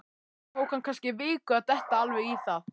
Það tók hann kannski viku að detta alveg í það.